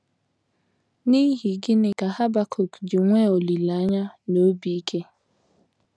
N’ihi gịnị ka Habakuk ji nwee olileanya na obi ike?